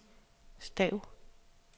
stav